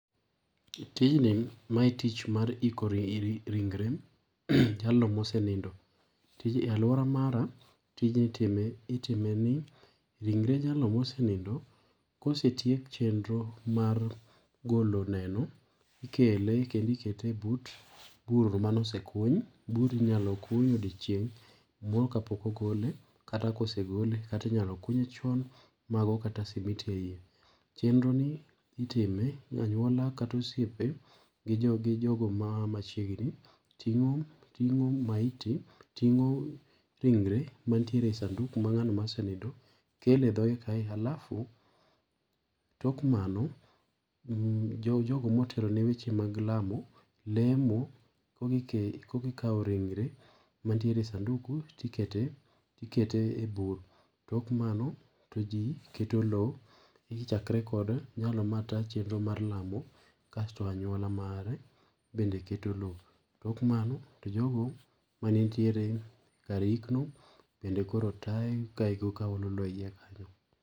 Tij ni mae tich mar iiko ringre jalno mosenindo. Tij ni e aluora mara, tijni itime itimeni, ringre jalno mosenindo, kosetiek chenro mar goloneno, ikele kendo ikete ebut bur mane osekuny. Burno inyalo kuny odiochieng moro kapok ogole kata kosegole kata inyalo kunye chon mago kata simiti eiye. Chenroni itime anyuola kata osiepe gi jog jogo ma a machiegni. Ting'o maiti ting'o ringre mantiere sanduku mar ng'ano mosenindo kele dhogee kae alafu. Tok mano jo jogo motelo ne weche mag lamo, lemo , koka ikawo ringre mantiere sanduku ti ikete eyi bur. Tok mano, to ji keto lowo. Ichakre kod jalno matayo chenro mar lamo kasto anyuala mare bende keto lowo. Tok mano, to jogo mane nitiere kar iikno bende koro ka olo lowo eyi kanyo.